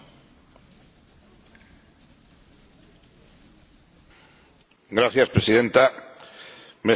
Señora Presidenta, me satisface participar en este debate sobre la Estrategia Europea de Seguridad Energética.